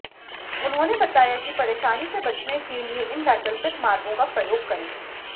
उन्होंने बताया कि परेशानी से बचने के लिए इन वैकल्पिक मार्गों का प्रयोग करें